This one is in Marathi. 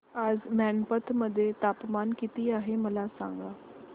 आज मैनपत मध्ये तापमान किती आहे मला सांगा